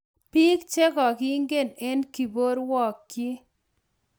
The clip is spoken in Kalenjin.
Biik che kokakigiin eng kokobkerwogyi